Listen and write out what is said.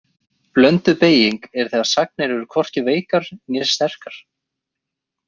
Blönduð beyging er þegar sagnir eru hvorki veikar né sterkar.